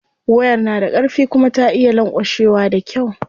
Wayar na da karfi kuma ta iya lanƙwashewa da kyau.